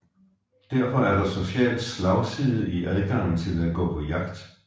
Derfor er der social slagside i adgangen til at gå på jagt